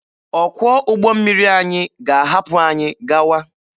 Ọkwọ ụgbọ mmiri anyị ga-ahapụ anyị gawa.